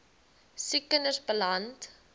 siek kinders beland